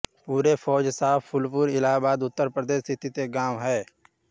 पूरे फौजशाह फूलपुर इलाहाबाद उत्तर प्रदेश स्थित एक गाँव है